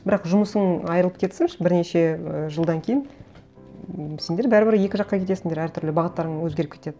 бірақ жұмысың айырылып кетсінші бірнеше ііі жылдан кейін ммм сендер бәрібір екі жаққа кетесіңдер әртүрлі бағыттарың өзгеріп кетеді